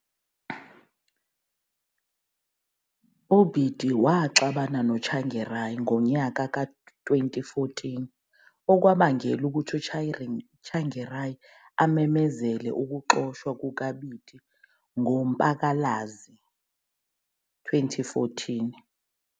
UBiti waxabana loTsvangirai ngomnyaka ka2014, okwabangela ukuthi uTsvangirai amemezele ukuxotshwa kukaBiti ngoMpalakazi 2014.